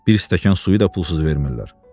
Bir stəkan suyu da pulsuz vermirlər.